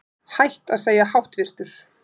Hætt að segja háttvirtur